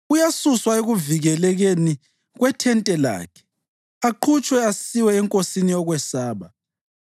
Uyasuswa ekuvikelekeni kwethente lakhe aqhutshwe asiwe enkosini yokwesaba.